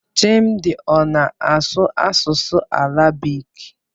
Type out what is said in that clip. Chimdi ọ na-asụ asụsụ Arabik?